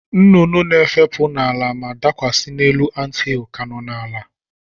Nnụnụ nke na-efepụ n'ụwa ma dakwasị n'elu anthill ka nọ n'ala.